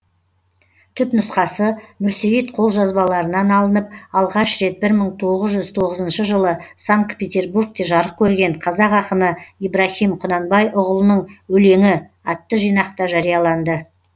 түпнұсқасы мүрсейіт қолжазбаларынан алынып алғаш рет бір мың тоғыз жүз тоғызыншы жылы санкт петербургте жарық керген қазақ ақыны ибраһим құнанбайұғылының өлеңі атты жинақта жарияланды